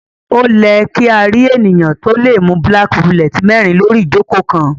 O lẹ kí a rí ènìyàn to lẹ mú black bullet mérin lori ijoko kán